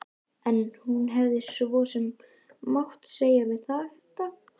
En hún hefði svo sem mátt segja sér þetta.